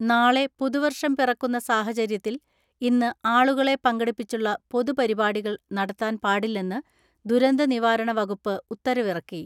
നാളെ പുതുവർഷം പിറക്കുന്ന സാഹചര്യത്തിൽ ഇന്ന് ആളുകളെ പങ്കെടുപ്പിച്ചുള്ള പൊതുപരിപാടികൾ നടത്താൻ പാടില്ലെന്ന് ദുരന്ത നിവാരണ വകുപ്പ് ഉത്തരവിറക്കി.